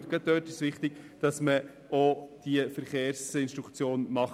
Und gerade da ist es wichtig, die Verkehrsinstruktion durchzuführen.